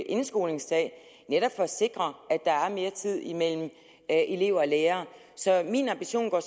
indskolingen netop for at sikre at der er mere tid imellem elever og lærere så min ambition går